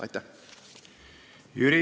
Aitäh!